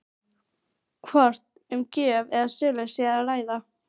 Hvort um gjöf eða sölu sé að ræða?